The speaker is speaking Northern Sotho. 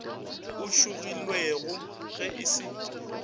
o šogilwego ge e se